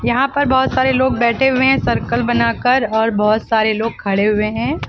यहां पर बहुत सारे लोग बैठे हुए है सर्कल बनाकर और बहुत सारे लोग खड़े हुए हैं।